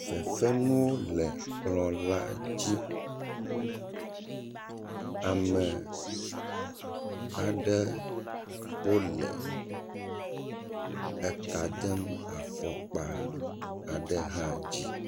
Fefenuwo le kplɔ la dzi, ame aɖe wole eka dem afɔkpa aɖe hã dzi.